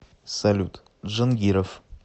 салют джангиров